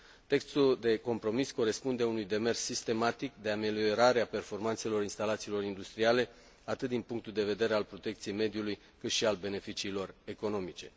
Textul de compromis corespunde unui demers sistematic de ameliorare a performanțelor instalațiilor industriale, atât din punctul de vedere al protecției mediului, cât și al beneficiilor economice.